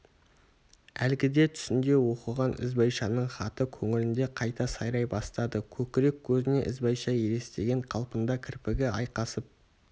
әлгіде түсінде оқыған ізбайшаның хаты көңілінде қайта сайрай бастады көкірек көзіне ізбайша елестеген қалпында кірпігі айқасып